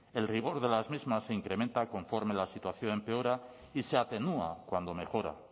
el rigor de las mismas se incrementa conforme la situación empeora y se atenúa cuando mejora